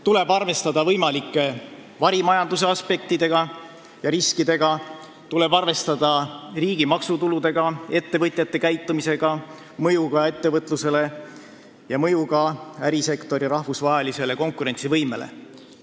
Tuleb arvestada ka võimalike varimajanduse aspektide ja riskidega, riigi maksutuludega, ettevõtjate käitumisega, mõjuga ettevõtlusele ja ärisektori rahvusvahelisele konkurentsivõimele.